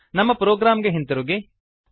ನಮ್ಮ ಪ್ರೊಗ್ರಾಮ್ ಗೆ ಹಿಂತಿರುಗಿ